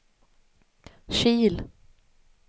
Kil